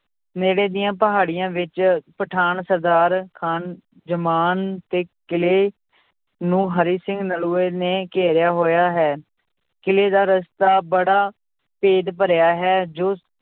ਨੇੜੇ ਦੀਆਂ ਪਹਾੜੀਆਂ ਵਿੱਚ ਪਠਾਨ ਸਰਦਾਰ ਖਾਨ ਜਮਾਨ ਤੇ ਕਿਲ੍ਹੇ ਨੂੰ ਹਰੀ ਸਿੰਘ ਨਲੂਏ ਨੇ ਘੇਰਿਆ ਹੋਇਆ ਹੈ, ਕਿਲ੍ਹੇ ਦਾ ਰਸਤਾ ਬੜਾ ਭੇਦ ਭਰਿਆ ਹੈ ਜੋ